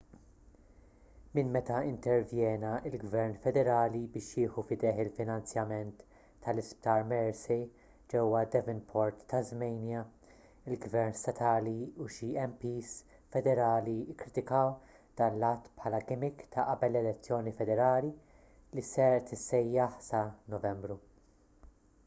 minn meta intervjena l-gvern federali biex jieħu f'idejh il-finanzjament tal-isptar mersey ġewwa devonport tasmania il-gvern statali u xi mps federali kkritikaw dan l-att bħala gimmick ta' qabel l-elezzjoni federali li se tissejjaħ sa novembru